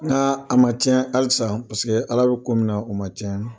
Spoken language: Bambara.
Nk'a ma tiɲɛ halisa paseke ala bɛ ko min na o ma tiɲɛ.